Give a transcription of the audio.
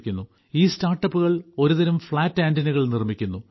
ഈ സ്റ്റാർട്ടപ്പുകൾ ഒരുതരം ഫ്ളാറ്റ് ആന്റിനകൾ നിർമ്മിക്കുന്നു